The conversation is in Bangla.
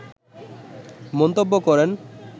মন্তব্য করেন